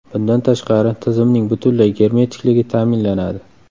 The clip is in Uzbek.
Bundan tashqari, tizimning butunlay germetikligi ta’minlanadi.